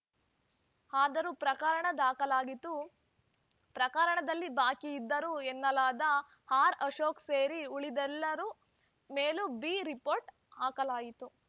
ಆದರೂ ಪ್ರಕರಣ ದಾಖಲಾಗಿತು ಪ್ರಕರಣದಲ್ಲಿ ಭಾಗಿಯಾಗಿದ್ದರು ಎನ್ನಲಾದ ಆರ್‌ಅಶೋಕ್‌ ಸೇರಿ ಉಳಿದೆಲ್ಲರ ಮೇಲೂ ಬಿ ರಿಪೋರ್ಟ್‌ ಹಾಕಲಾಯಿತು